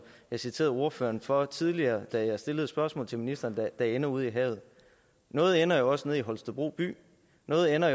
jeg citerede ordføreren for tidligere da jeg stillede et spørgsmål til ministeren der ender ude i havet noget ender jo også nede i holstebro by noget ender